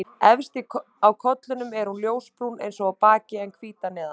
Efst á kollinum er hún ljósbrún eins og á baki en hvít að neðan.